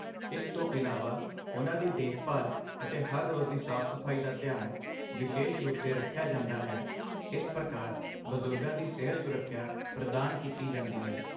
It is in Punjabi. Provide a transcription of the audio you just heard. ਇਸ ਤੋਂ ਇਲਾਵਾ ਉਹਨਾਂ ਦੀ ਦੇਖਭਾਲ ਅਤੇ ਹਰ ਰੋਜ਼ ਦੀ ਸਾਫ਼ ਸਫ਼ਾਈ ਦਾ ਧਿਆਨ ਵਿਸ਼ੇਸ਼ ਰੂਪ 'ਤੇ ਰੱਖਿਆ ਜਾਂਦਾ ਹੈ ਇਸ ਪ੍ਰਕਾਰ ਬਜ਼ੁਰਗਾਂ ਦੀ ਸਿਹਤ ਸੁਰੱਖਿਆ ਪ੍ਰਦਾਨ ਕੀਤੀ ਜਾਂਦੀ ਹੈ